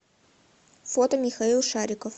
фото михаил шариков